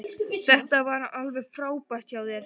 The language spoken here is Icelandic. Þetta var alveg frábært hjá þér.